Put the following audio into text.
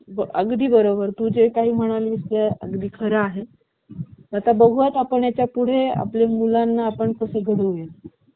अगदी बरोबर, तू जे काही म्हणून मिळाली खरं आहे आता बघू आपण यापुढे आपल्या मुलांना आपण कसं होईल